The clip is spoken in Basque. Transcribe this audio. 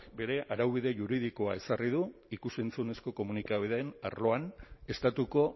bere araubide juridikoa ezarri du ikus entzunezko komunikabideen arloan estatuko